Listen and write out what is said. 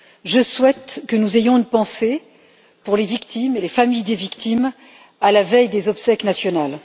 Je souhaite que nous ayons une pensée pour les victimes et les familles des victimes, à la veille des obsèques nationales.